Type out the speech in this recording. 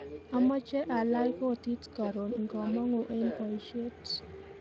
Amache alach kotit karon ngamangu eng boishet